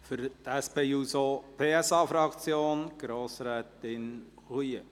Für die SP-JUSO-PSA-Fraktion: Grossrätin Roulet.